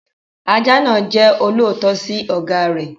Ajá náà jẹ́ olóòótọ́ sí ọ̀gá rẹ̀.